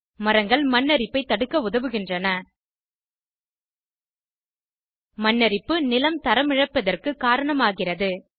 மரங்கள் மண் அரிப்பை தடுக்க உதவுகின்றன மண் அரிப்பு நிலம் தரமிழப்பிற்கு காரணமாகிறது